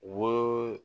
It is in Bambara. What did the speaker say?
Wo